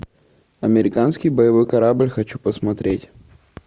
американский боевой корабль хочу посмотреть